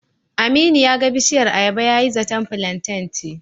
Aminu ya ga bishiyar ayaba yayi zaton filanten ce.